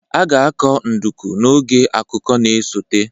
A ga-akọ nduku n'oge akuku na-esote